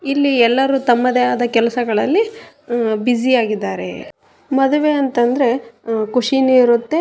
ಇಲ್ಲಿ ಎಲ್ಲರು ತಮ್ಮದೆ ಆದ ಕೆಲಸದಲ್ಲಿ ಬ್ಯುಸಿ ಆಗಿದ್ದಾರೆ ಮದುವೆ ಅಂತಂದ್ರೆ ಖುಷಿನು ಇರುತ್ತೆ.